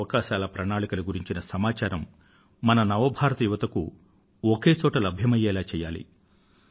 ఈ అవకాశాల ప్రణాళికల గురించిన సమాచారం మన నవ భారత యువతకు ఒకే చోటులో లభ్యమయ్యేలా చేయాలి